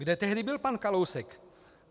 Kde tehdy byl pan Kalousek?